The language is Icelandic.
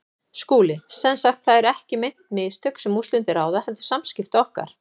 SKÚLI: Sem sagt: það eru ekki meint mistök, sem úrslitum ráða, heldur samskipti okkar?